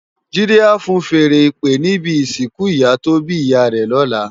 Jide á fúùn fèèrè ìpè ni ibi isinkù iyá tó bi iyá rè lòlá